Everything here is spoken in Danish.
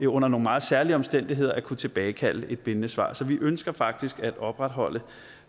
under nogle meget særlige omstændigheder at kunne tilbagekalde et bindende svar så vi ønsker faktisk at opretholde